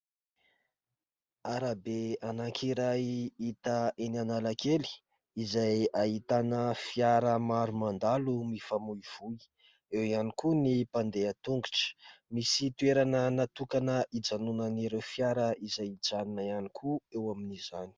Arabe anankiray hita eny Analakely izay ahitana fiara maro mandalo mifamoivoy. Eo ihany koa ny mpandeha an-tongotra. Misy toerana natokana hijanonan'ireo fiara izay mijanona koa eo amin'izany.